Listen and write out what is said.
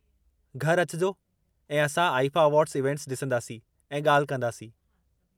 घर अचिजो ऐं असां आईफ़ा अवार्ड्स इवेंट्स डि॒संदासीं ऐं ॻाल्हि कंदासीं।